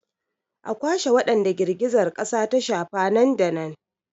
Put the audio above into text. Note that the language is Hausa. A kwashe wadanda girgizar kasa ta shafa nan da nan!